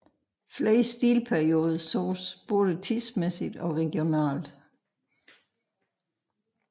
Flere stilperioder sås både tidsmæssigt og regionalt